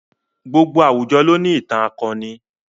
Gbogbo àwùjọ ló ní ìtàn akọni.